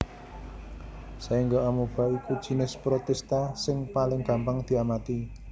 Saéngga Amoeba iku jinis Protista sing paling gampang diamati